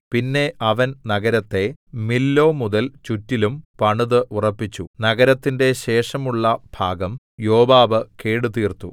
പിന്നെ അവൻ നഗരത്തെ മില്ലോ മുതൽ ചുറ്റിലും പണിതു ഉറപ്പിച്ചു നഗരത്തിന്റെ ശേഷമുള്ള ഭാഗം യോവാബ് കേടുതീർത്തു